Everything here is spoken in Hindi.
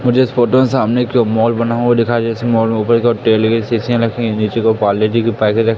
मुझे इस फोटो में सामने एक माल बना हुआ दिखाई जैसे मॉल में ऊपर तेल की सीसीयां रखी है नीचे को पारले जी के पैके--